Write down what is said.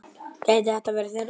Gæti þetta verið þeirra ár?